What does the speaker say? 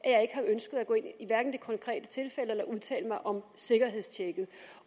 konkrete tilfælde eller at udtale mig om sikkerhedstjekket